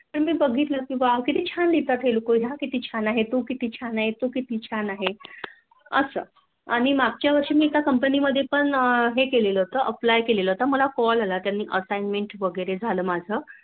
पण मी बघितलं कि किती छान लिहितात हे लोक तो किती छान आहे तो किती छान आहे असं. आणि मागच्या वर्षी मी त्या Company मध्ये पण हे केले होत Apply कळेल होत मला Call आला त्यानी माझं Assignment वैगेरे झालं माझं